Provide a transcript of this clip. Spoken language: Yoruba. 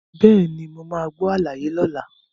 Bẹ́ẹ̀ni, mo máa gbọ́ àlàyé lọ́la.